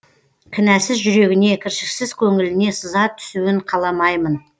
кінәсіз жүрегіне кіршіксіз көңіліне сызат түсуін қаламаймын